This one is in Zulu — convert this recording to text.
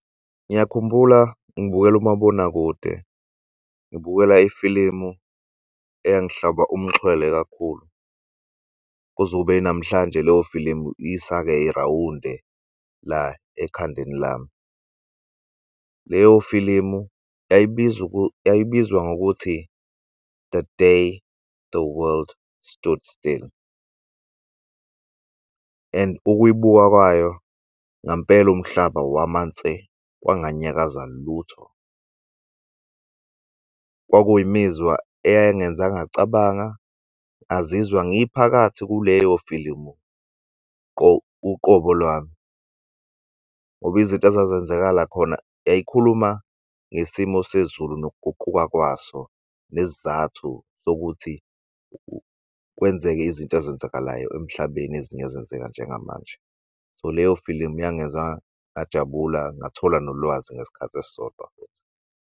Ngiyakhumbula ngibukelu'mabonakude, ngibukela ifilimu eyangihlaba umxhwele kakhulu kuze kube yinamhlanje leyo filimu isake irawunde la ekhandeni lami. Leyo filimu yayibizwa ngokuthi The Day The World Stood Still and ukuyibuka kwayo ngampela umhlaba wama nse kwanganyakaza lutho. Kwakuyimizwa eyangenza ngacabanga ngazizwa ngiphakathi kuleyo filimu uqobo lwami ngoba izinto ezazenzekala khona yayikhuluma ngesimo sezulu nokuguquka kwaso, nesizathu sokuthi kwenzeke izinto ezenzakalayo emhlabeni ezinye ezenzeka njengamanje. So leyo filimu yangenza ngajabula ngathola nolwazi ngesikhathi esisodwa.